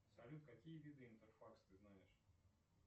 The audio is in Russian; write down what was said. салют какие виды интерфакс ты знаешь